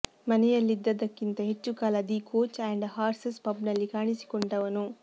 ಮನೆಯಲ್ಲಿದ್ದದ್ದಕ್ಕಿಂತ ಹೆಚ್ಚು ಕಾಲ the coach and horses ಪಬ್ನಲ್ಲಿ ಕಾಣಿಸಿಕೊಂಡವನು